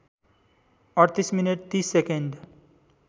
३८ minute ३० second